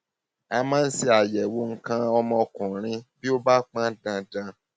a máa ń ṣe àyẹwò nǹkan ọmọkùnrin bí ó bá pọn dandan